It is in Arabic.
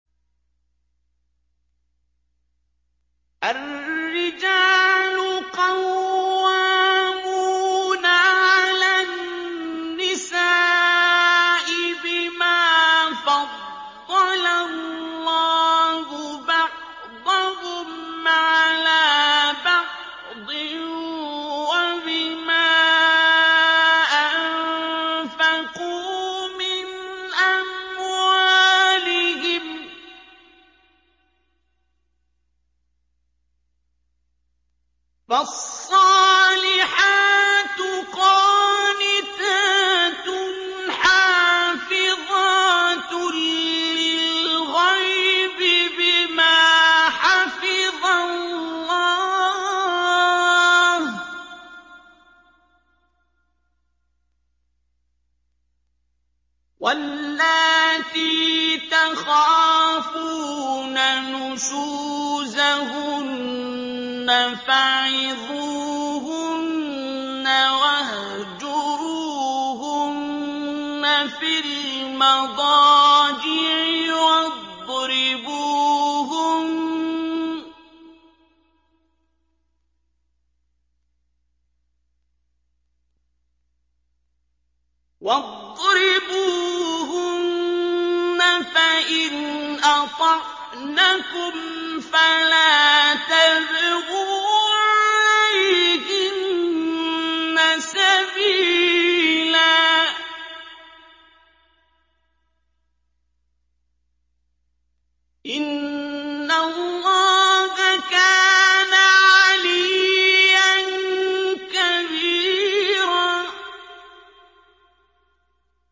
الرِّجَالُ قَوَّامُونَ عَلَى النِّسَاءِ بِمَا فَضَّلَ اللَّهُ بَعْضَهُمْ عَلَىٰ بَعْضٍ وَبِمَا أَنفَقُوا مِنْ أَمْوَالِهِمْ ۚ فَالصَّالِحَاتُ قَانِتَاتٌ حَافِظَاتٌ لِّلْغَيْبِ بِمَا حَفِظَ اللَّهُ ۚ وَاللَّاتِي تَخَافُونَ نُشُوزَهُنَّ فَعِظُوهُنَّ وَاهْجُرُوهُنَّ فِي الْمَضَاجِعِ وَاضْرِبُوهُنَّ ۖ فَإِنْ أَطَعْنَكُمْ فَلَا تَبْغُوا عَلَيْهِنَّ سَبِيلًا ۗ إِنَّ اللَّهَ كَانَ عَلِيًّا كَبِيرًا